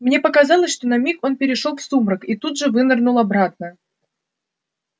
мне показалось что на миг он перешёл в сумрак и тут же вынырнул обратно